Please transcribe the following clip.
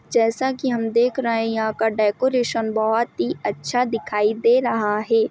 जैसा की हम देख रहे है यहाँ का डेकोरेशन बहोत ही अच्छा दिखाई दे रहा है।